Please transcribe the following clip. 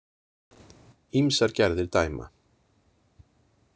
Ýmsar gerðir dæma.